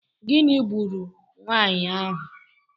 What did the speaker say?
Gịnị gburu nwaanyị ahụ?